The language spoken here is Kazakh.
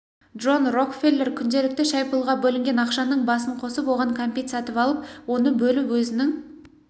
джон рокфеллер күнделікті шай-пұлға бөлінген ақшаның басын қосып оған кәмпит сатып алып оны бөліп өзінің